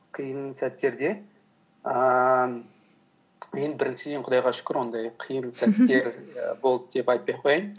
қиын сәттерде ііі ең біріншіден құдайға шүкір ондай қиын сәттер болды деп айтпай ақ қояйын